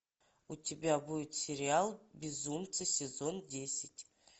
у тебя будет сериал безумцы сезон десять